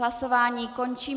Hlasování končím.